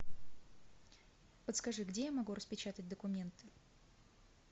подскажи где я могу распечатать документы